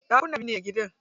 Ɗakuna biyar ne a gidan.